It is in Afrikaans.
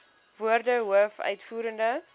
woorde hoof uitvoerende